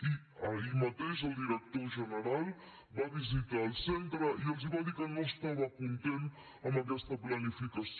i ahir mateix el director general va visitar el centre i els va dir que no estava content amb aquesta planificació